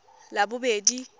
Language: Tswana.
labobedi